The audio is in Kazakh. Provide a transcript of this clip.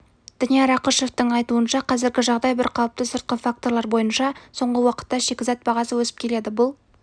данияр ақышевтің айтуынша қазіргі жағдай бірқалыпты сыртқы факторлар бойынша соңғы уақытта шикізат бағасы өсіп келеді бұл